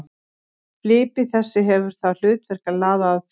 Flipi þessi hefur það hlutverk að laða að fisk.